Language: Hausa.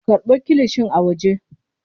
Karɓo kilishin a waje.